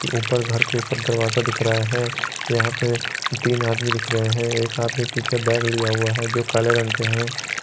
ऊपर घर के ऊपर दरवाजा दिख रहा है यहां पे तीन आदमी दिख रहा है एक आदमी पीछे बैग लिया हुआ है जो काले रंग के हैं।